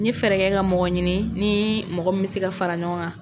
N ye fɛɛrɛ kɛ ka mɔgɔ ɲini,n ni mɔgɔ min bɛ se ka fara ɲɔgɔn kan.